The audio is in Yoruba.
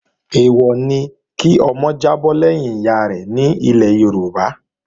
Èèwọ̀ ni kí ọmọ jábọ́ lẹ́yìn ìyárẹ̀ nílẹ̀ Yorùbá